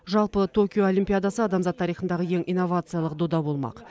жалпы токио олимпиадасы адамзат тарихындағы ең инновациялық дода болмақ